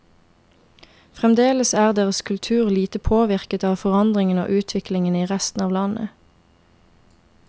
Fremdeles er deres kultur lite påvirket av forandringene og utviklingen i resten av landet.